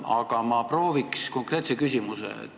Aga ma proovin konkreetse küsimuse esitada.